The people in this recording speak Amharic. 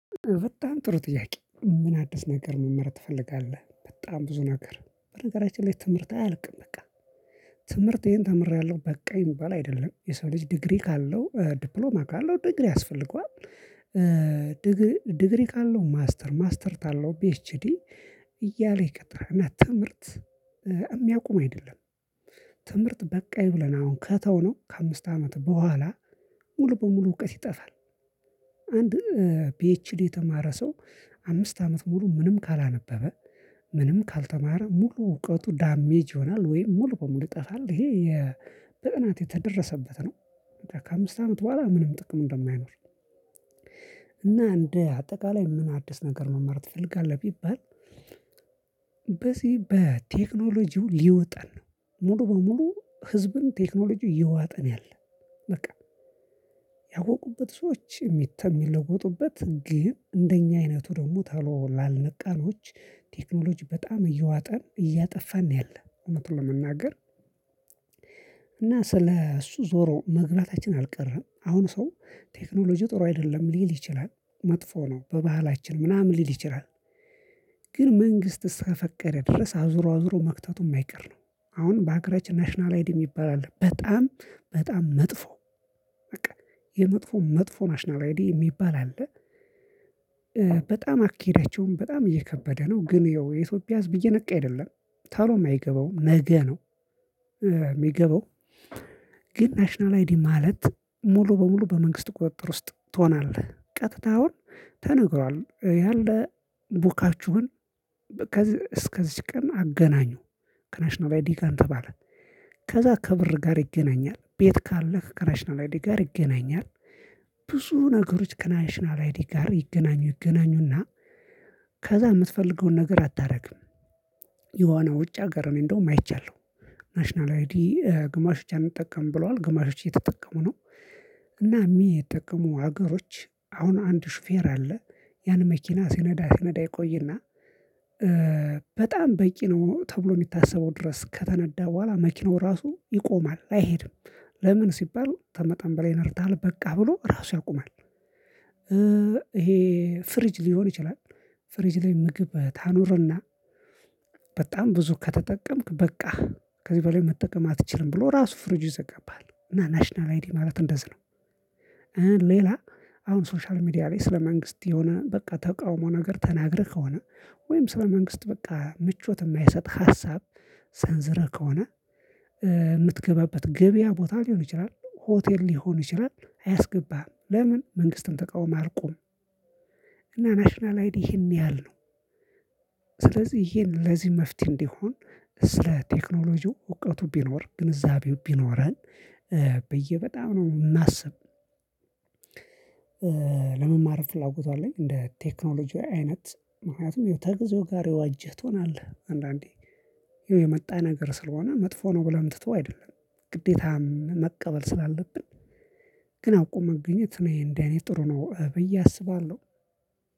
በጣም ጥሩ ጥያቄ ምን አድስ ነገር መማር ትፈልጋለህ በጣም ብዙ ነገር በነገራችን ላይ ትምህርት አያልቅም በቃ ትምህርት ይሄን ተምሬያለሁ በቃ የሚባል አይደለም የሰው ልጅ ዲግሪ ካለው ዲፕሎማ ካለው ዲግሪ ያስፈልገዋል ዲግሪ ካለው ማስተር ማስተር ታለው ቢኤችዲ እያለ ይቀጥላል እና ትምህርት የሚያቆም አይደለም ትምህርት በቃይ ብለን አሁን ከተውነው ከአምስት አመት በኋላ ሙሉ በሙሉ እውቀት ይጠፋል አንድ ቢኤችዲ የተማረ ሰው አምስት አመት ሙሉ ምንም ካላነበበ ምንም ካልተማረ ሙሉ እውቀቱ ዳሜጅ ይሆናል ወይ ሙሉ በሙሉ ይጠፋል ይሄ በጥናት የተደረሰበት ነው። ከአምስት አመት በኋላ ምንም ጥቅም እንደማይኖር እና እንደ አጠቃላይ ምን አደስ ነገር መማር ትፈልጋለህ ቢባል በዚህ በቴክኖሎጂው ሊውጠን ነው ሙሉ በሙሉ ህዝብን ቴክኖሎጂ እየዋጠ ነው ያለው በቃ ያወቁበት ሰዎች የሚለወጡበት ግን እንደኛ አይነቱ ደግሞ ቶሎ ላልነቃኖች ቴክኖሎጂ በጣም እየዋጠን እያጠፋን ነው ያለ። እውነቱን ለመናገር እና ስለ እሱ ዞሮ መግላታችን አልቀረም አሁን ሰው ቴክኖሎጂ ጥሩ አይደለም ሊል ይችላል መጥፎ ነው በባህላችን ምናምን ሊል ይችላል ግን መንግስት እስከፈቀደ ድረስ አዙሮ አዙሮ መክተቱ የማይቀር ነው አሁን በአገራች ናሽናል አይዲ የሚባል አለ በጣም በጣም መጥፎ በቃ የመጥፎ መጥፎ ናሽናል አይዲ የሚባል አለ በጣም አካሄዳቸውም በጣም እየከበደ ነው ግን ያው የኢትዮጵያ ህዝብ እየነቃ አይደለም ቶሎም አይገባውም ነገ ነው የሚገባው ግን ናሽናል አይዲ ማለት ሙሉ በሙሉ በመንግስት ቁጥጥር ውስጥ ትሆናለህ ቀጥታ አሁን ተነግሯል ያለ ቡካችሁን ከዚህ እስከዚች ቀን አገናኙ ከናሽናል አይዲ ጋር ተባለ ከዛ ከብር ጋር ይገናኛል ቤት ካለህ ከናሽናል አይዲ ጋር ይገናኛል ብዙ ነገሮች ከናሽናል አይዲ ጋር ይገናኙ ይገናኙና ከዛ የምትፈልገውን ነገር አታደርግም የሆነ ውጭ ሀገር እኔ እንደውም አይቻለሁ ናሽናል አይዲ ግማሾች አንጠቀም ብለዋል ግማሾች እየተጠቀሙ ነው እና የሚጠቀሙ ሀገሮች አሁን አንድ ሹፌር አለ ያን መኪና ሲነዳ ሲነዳ ይቆይና በጣም በቂ ነው ተብሎ የሚታሰበው ድረስ ከተነዳ በኋላ መኪናው ራሱ ይቆማል አይሄድም ለምን ሲባል ተመጠን በላይ ነድተሃል በቃህ ብሎ ራሱ ያቆማል እ ይሄ ፍሪጅ ሊሆን ይችላል ፍሪጅ ላይ ምግብ ታኖርና በጣም ብዙ ከተጠቀምክ በቃህ ከዚህ በላይ መጠቀም አትችልም ብሎ ራሱ ፍሪጁ ይዘጋብሃል እና ናሽናል አይዲ ማለት እንደዚህ ነው ሌላ አሁን ሶሻል ሚዲያ ላይ ስለ መንግስት የሆነ በቃ ተቃውሞ ነገር ተናግረህ ከሆነ ወይም ስለ መንግስት በቃ ምቾት የማይሰጥ ሀሳብ ሰንዝረህ ከሆነ የምትገባበት ገበያ ቦታ ሊሆን ይችላል ሆቴል ሊሆን ይችላል አያስገባህም ለምን መንግስትን ተቃውሞ አልቆምም እና ናሽናል አይዲ ይሄን ያህል ነው። ስለዚህ ይሄን ለዚህ መፍትሄ እንዲሆን ስለ ቴክኖሎጂው እውቀቱ ቢኖር ግንዛቤው ቢኖረን ብየ በጣም ነው የምናስብ። ማረፍ ፍላጎቱ አለኝ እንደ ቴክኖሎጂው አይነት ምክንያቱም ከጊዜው ጋር የዋጀህ ትሆናለህ። አንዳንዴ የመጣ ነገር ስለሆነ መጥፎ ነው ብለህ እምትተወው አይደለም ግዴታ መቀበል ስላለብን ግን አውቆ መገኘት እኔ እንደኔ ጥሩ ነው ብዬ አስባለሁ